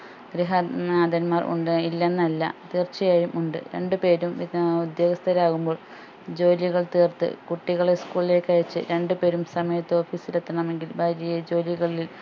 ഗൃഹ നാഥൻമാർ ഉണ്ട് ഇല്ലെന്നല്ല തീർച്ചയായും ഉണ്ട് രണ്ടു പേരും പിന്നാ ഉദ്യോഗസ്ഥരാവുമ്പോൾ ജോലികൾ തീർത്ത് കുട്ടികളെ school ലേക്ക് അയച്ച് രണ്ടു പേരും സമയത്ത് office എത്തണമെങ്കിൽ ഭാര്യയെ ജോലികളിൽ